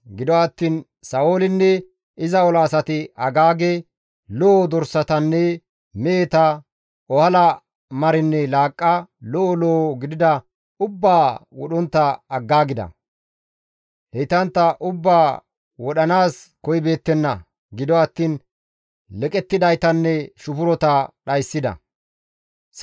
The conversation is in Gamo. Gido attiin Sa7oolinne iza ola asati Agaage, lo7o dorsatanne meheta, ohala marinne laaqqa, lo7o lo7o gidida ubbaa wodhontta aggaagida; heytantta ubbaa wodhanaas koyibeettenna; gido attiin leqettidaytanne shufurota dhayssida.